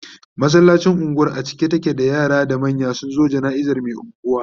masallacin unguwar a cike take da yara da manya sunzo janaizan Mai unguwa